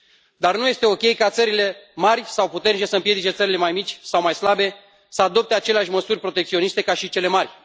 Dar nu este ok ca țările mari sau puternice să împiedice țările mai mici sau mai slabe să adopte aceleași măsuri protecționiste ca și cele mari.